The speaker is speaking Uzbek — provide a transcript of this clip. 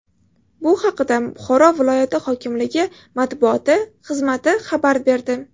Bu haqda Buxoro viloyati hokimligi matbuoti xizmati xabar berdi.